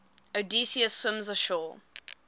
odysseus swims ashore